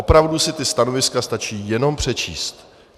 Opravdu si ta stanoviska stačí jenom přečíst.